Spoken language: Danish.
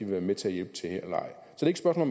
være med til at hjælpe til her eller